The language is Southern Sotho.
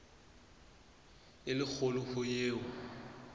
e le kgolo ho eo